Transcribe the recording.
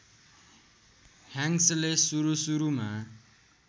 ह्याङ्क्सले सुरु सुरुमा